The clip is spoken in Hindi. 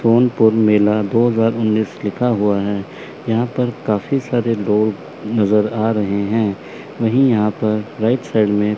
सोनपुर मेला दो हजार उन्नीस लिखा हुआ है यहां पर काफी सारे लोग नजर आ रहे हैं वही यहां पर राइट साइड में--